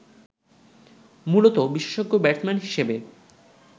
মূলতঃ বিশেষজ্ঞ ব্যাটসম্যান হিসেবে